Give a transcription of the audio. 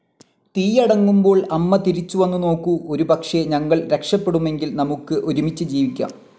തീയടങ്ങുമ്പോൾ അമ്മ തിരിച്ചു വന്നു നോക്കൂ, ഒരുപക്ഷെ ഞങ്ങൾ രക്ഷപ്പെടുമെങ്കിൽ നമുക്ക് ഒരുമിച്ച് ജീവിക്കാം.